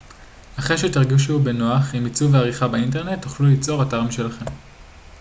אחרי שתרגישו בנוח עם עיצוב ועריכה באינטרנט תוכלו ליצור אתר משלכם